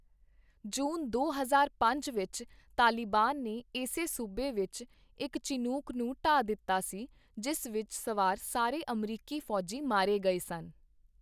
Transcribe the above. ਜੂਨ ਦੋ ਹਜ਼ਾਰ ਪੰਜ ਵਿੱਚ ਤਾਲਿਬਾਨ ਨੇ ਇਸੇ ਸੂਬੇ ਵਿੱਚ ਇੱਕ ਚਿਨੂਕ ਨੂੰ ਢਾਹ ਦਿੱਤਾ ਸੀ, ਜਿਸ ਵਿੱਚ ਸਵਾਰ ਸਾਰੇ ਅਮਰੀਕੀ ਫੌਜੀ ਮਾਰੇ ਗਏ ਸਨ।